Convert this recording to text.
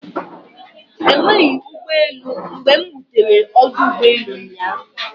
Enweghị ụgbọelụ mgbe m rutere ọdụ ụgbọelụ ụnyaahụ.